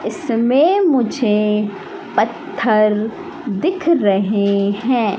इसमें मुझे पत्थर दिख रहे हैं।